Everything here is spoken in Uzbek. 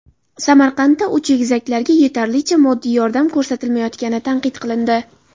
Samarqandda uch egizaklarga yetarlicha moddiy yordam ko‘rsatilmayotgani tanqid qilindi.